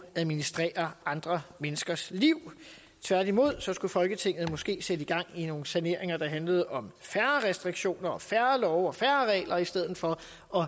at administrere andre menneskers liv tværtimod skulle folketinget måske sætte gang i nogle saneringer der handlede om færre restriktioner og færre love og færre regler i stedet for